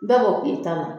Bɛɛ ko k'i ta la